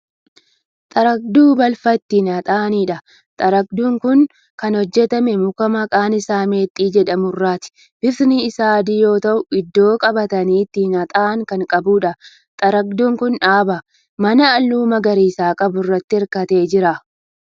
Xaragduu balfa ittiin haxaa'aniidha. xaragduun Kuni Kan hojjatame muka. maqaan Isaa meexxii jedhamu irraatidha. bifti Isaa adii yoo ta'u iddoo qabatanii ittiin haxxa'an Kan qabuudha. xaragduun Kuni dhaabaa. manaa halluu magariisa qabu irraatti hirkatee Jira.